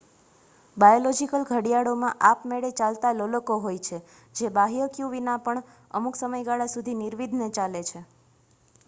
biological ઘડિયાળોમાં આપમેળે ચાલતાં લોલકો હોય છે જે બાહ્ય ક્યૂ વિના પણ અમુક સમયગાળા સુધી નિર્વિઘ્ને ચાલે છે